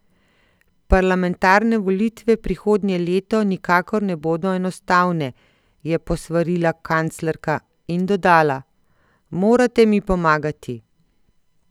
Parlamentarne volitve prihodnje leto nikakor ne bodo enostavne, je posvarila kanclerka in dodala: "Morate mi pomagati".